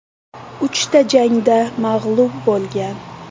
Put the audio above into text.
Uchta jangda mag‘lub bo‘lgan.